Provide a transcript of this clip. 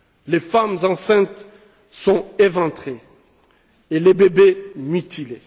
les femmes enceintes sont éventrées et les bébés mutilés.